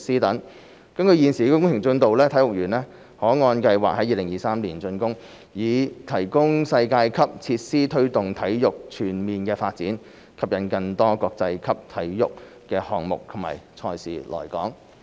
根據現時工程進度，體育園可按計劃在2023年竣工，以提供世界級設施推動體育全面發展，吸引更多國際級體育項目及賽事來港。